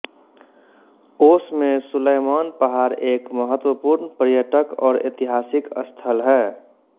ओश में सुलयमान पहाड़ एक महत्वपूर्ण पर्यटक और ऐतिहासिक स्थल है